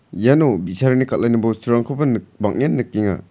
iano bi·sarangni kal·ani bosturangkoba nik-bang·en nikenga.